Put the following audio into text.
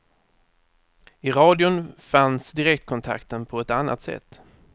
I radion fanns direktkontakten på ett annat sätt.